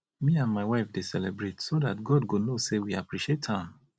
me and my wife dey celebrate so dat god go know say we appreciate am